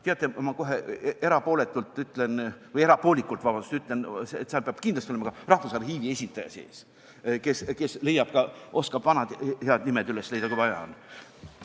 Teate, ma kohe erapoolikult ütlen, et seal peab kindlasti olema ka Rahvusarhiivi esindaja, kes oskab vanad head nimed üles leida, kui vaja on.